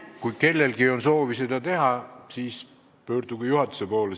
Kui kellelgi on soovi seda teha, siis pöörduge juhatuse poole.